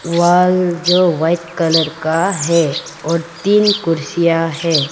Wall जो white colour का है और तीन कुर्सियां है।